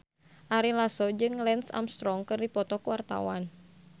Ari Lasso jeung Lance Armstrong keur dipoto ku wartawan